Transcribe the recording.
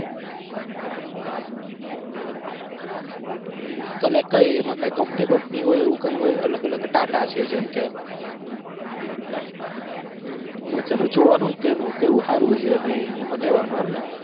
હમ collect કરી એમાં કાંઈ કંપની બમ્પની એવું કાય હોય અલગ અલગ ટાટા છે જેમ કે હમ અચ્છા તો જોવાનું કેનું કેવું હારું છે નઈ એમાં લેવાનું એમ ને